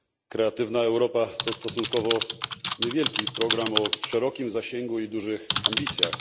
Kreatywna Europa to stosunkowo niewielki program o szerokim zasięgu i dużych ambicjach.